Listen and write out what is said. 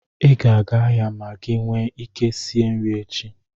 I ga-aga ahịa ma gị nwe ike sie nri echi.